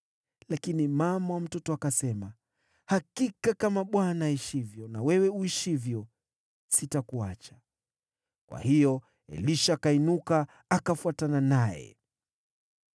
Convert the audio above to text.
Lakini mama mtoto akasema, “Hakika kama Bwana aishivyo na wewe uishivyo, sitakuacha.” Kwa hiyo Elisha akainuka, akafuatana naye.